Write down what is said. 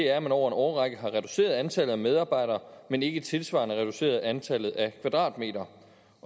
at man over en årrække har reduceret antallet af medarbejdere men ikke tilsvarende reduceret antallet af kvadratmeter